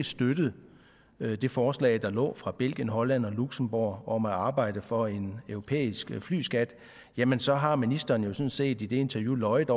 støttet det forslag der lå fra belgien holland og luxembourg om at arbejde for en europæisk flyskat jamen så har ministeren sådan set i det interview løjet